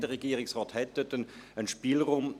Der Regierungsrat hat dort einen Spielraum.